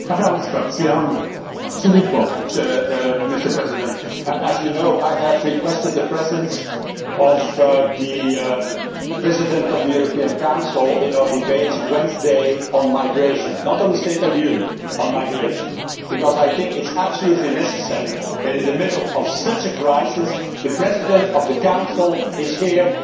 Mr President, as you know, I have requested the presence of the President of the European Council at our debate on Wednesday on migration not on the State of the Union, on migration because I think it is absolutely necessary that, in the middle of such a crisis, the President of the Council is here to discuss it with us.